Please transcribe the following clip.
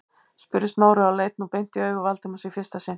spurði Smári og leit nú beint í augu Valdimars í fyrsta sinn.